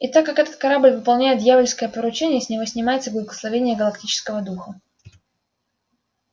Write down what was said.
и так как этот корабль выполняет дьявольское поручение с него снимается благословение галактического духа